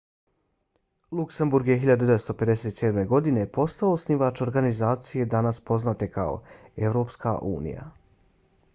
luksemburg je 1957. godine postao osnivač organizacije danas poznate kao evropska unija